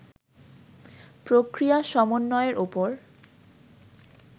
প্রক্রিয়া সমন্বয়ের উপর